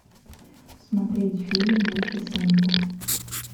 смотреть фильм малифисента